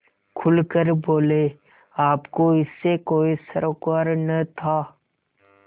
खुल कर बोलेआपको इससे कोई सरोकार न था